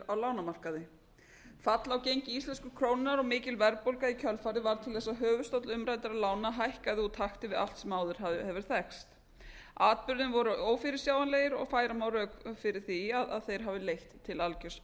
á lánamarkaði fall á gengi íslensku krónunnar og mikil verðbólga í kjölfarið varð til þess að höfuðstóll umræddra lána hækkaði úr takti við allt sem áður hefur þekkst atburðir voru ófyrirsjáanlegir og færa má rök fyrir því að þeir hafi leitt til algjörs